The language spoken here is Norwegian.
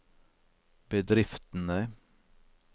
bedriftene